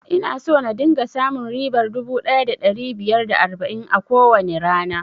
Ina so na dinga samun ribar dubu ɗaya da ɗari biyar da arba'in a kowane rana